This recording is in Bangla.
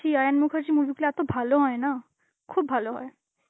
আয়ন মুখার্জি movie গুলো এত ভালো হয় না, খুব ভালো হয়.